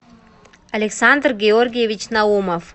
александр георгиевич наумов